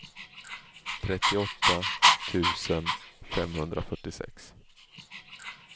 trettioåtta tusen femhundrafyrtiosex